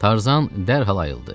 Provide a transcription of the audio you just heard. Tarzan dərhal ayıldı.